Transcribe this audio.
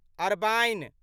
Arbaeen